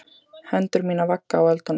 Hendur mínar vagga á öldunum.